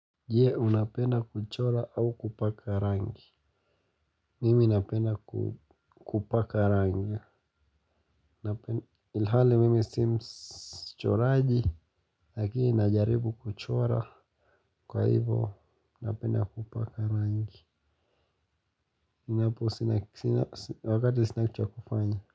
Je unapenda kuchora au kupaka rangi. Mimi napenda kupaka rangi. Ilhali mimi simchoraji lakini najaribu kuchora. Kwa hivo napenda kupaka rangi inapo wakati sina cha kufanya.